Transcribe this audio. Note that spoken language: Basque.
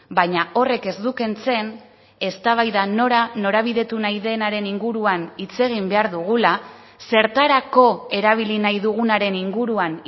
baina horrek ez du kentzen eztabaida nora norabidetu nahi denaren inguruan hitz egin behar dugula zertarako erabili nahi dugunaren inguruan